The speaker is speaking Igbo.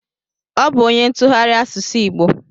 Ọ bụ onye ntụgharị asụsụ igbo